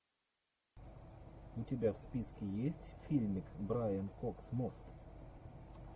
у тебя в списке есть фильмик брайан кокс мост